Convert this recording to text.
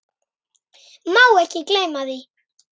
Má ekki gleyma því.